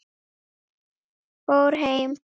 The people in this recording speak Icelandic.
Fór heim?